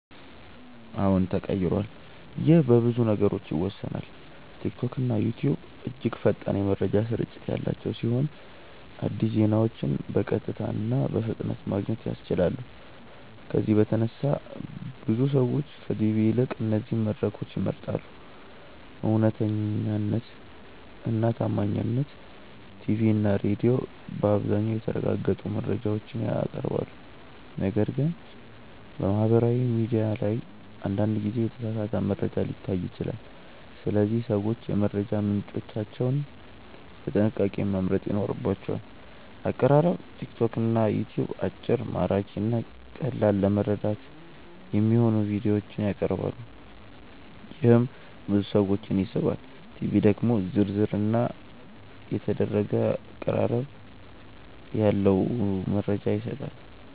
አዎን ተቀይሯል ይህ በብዙ ነገሮች ይወሰናል። ቲክቶክና ዩትዩብ እጅግ ፈጣን የመረጃ ስርጭት ያላቸው ሲሆን አዲስ ዜናዎችን በቀጥታ እና በፍጥነት ማግኘት ያስችላሉ። ከዚህ በተነሳ ብዙ ሰዎች ከቲቪ ይልቅ እነዚህን መድረኮች ይመርጣሉ። እውነተኛነት እና ታማኝነት ቲቪ እና ሬዲዮ በአብዛኛው የተረጋገጡ መረጃዎችን ያቀርባሉ፣ ነገር ግን በማህበራዊ ሚዲያ ላይ አንዳንድ ጊዜ የተሳሳተ መረጃ ሊታይ ይችላል። ስለዚህ ሰዎች የመረጃ ምንጮቻቸውን በጥንቃቄ መምረጥ ይኖርባቸዋል። አቀራረብ ቲክቶክ እና ዩትዩብ አጭር፣ ማራኪ እና ቀላል ለመረዳት የሚሆኑ ቪዲዮዎችን ያቀርባሉ፣ ይህም ብዙ ሰዎችን ይስባል። ቲቪ ደግሞ ዝርዝር እና የተደረገ አቀራረብ ያለው መረጃ ይሰጣል።